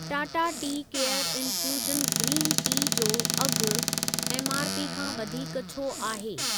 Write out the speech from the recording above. Tata tea care infusion green tea जो अघु MRP खां वधीक छो आहे?